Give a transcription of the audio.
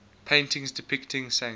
paintings depicting saints